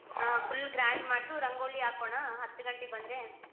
ಹಾ full grand ಮಾಡ್ತು ರಂಗೋಲಿ ಹಾಕೋಣ ಹತಗಂಟೆಗ್ ಬಂದ್ರೆ.